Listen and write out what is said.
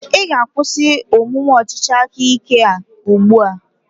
Ị ga-akwụsị omume ọchịchị aka ike a ugbu a?